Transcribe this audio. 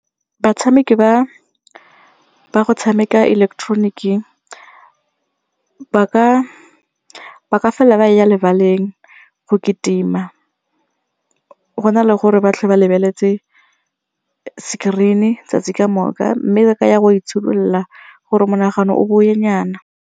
Batshameki ba ba go tshameka ileketeroniki ba ka felela ba ya lebaleng go kitima go na le gore ba lebeletse screen-e 'tsatsi kamoka mme ba ka ya go itshidolola gore monagano o bowe nyana.